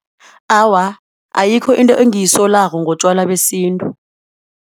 Awa, ayikho into engiyisolako ngotjwala besintu.